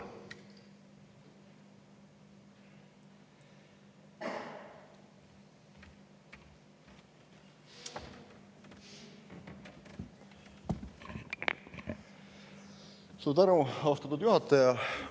Suur tänu, austatud juhataja!